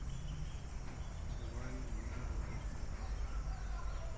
аварии на дорогах